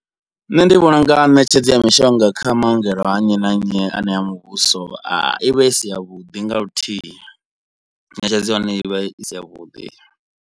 Nṋe ndi vhona unga ṋetshedzo ya mishonga kha maongelo a nnyi na nnyi anea muvhuso i vha i si yavhuḓi nga luthihi. Ṋetshedzo ya hone i vha i si ya vhuḓi.